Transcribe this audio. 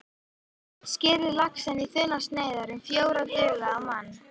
Skerið laxinn í þunnar sneiðar, um fjórar duga á mann.